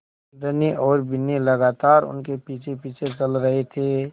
धनी और बिन्नी लगातार उनके पीछेपीछे चल रहे थे